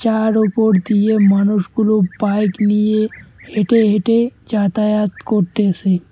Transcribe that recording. যার ওপর দিয়ে মানুষগুলো বাইক নিয়ে হেঁটে হেঁটে যাতায়াত করতেসে।